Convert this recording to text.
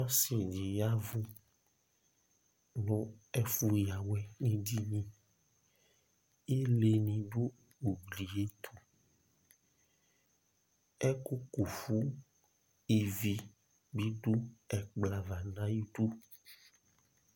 Ɔsɩ ɖɩ ƴa nʋ ɛfʋ ƴǝ awɛ nʋ eɖiniIle nɩ ɖʋ ugli ƴɛ tʋƐƙʋ ƙufu ivi bɩ lɛ nʋ ɛƙplɔ ava nʋ aƴʋ iɖu